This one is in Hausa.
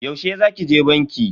Yaushe za ki je banki?